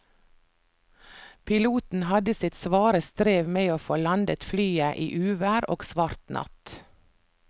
Piloten hadde sitt svare strev med å få landet flyet i uvær og svart natt.